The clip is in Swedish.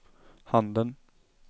handen